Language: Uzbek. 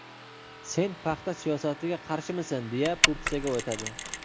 Sen paxta siyosatiga qarshimisan, deya po‘pisaga o‘tadi.